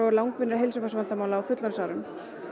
langvinnra heilsufarsvandamála á fullorðinsárum